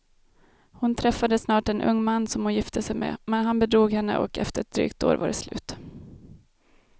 Hon träffade snart en ung man som hon gifte sig med, men han bedrog henne och efter ett drygt år var det slut.